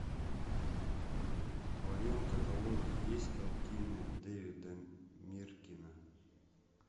в твоем каталоге есть картины дэвида миркина